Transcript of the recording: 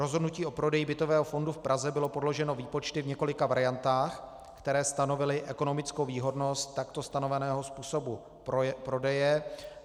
Rozhodnutí o prodeji bytového fondu v Praze bylo podloženo výpočty v několika variantách, které stanovily ekonomickou výhodnost takto stanoveného způsobu prodeje.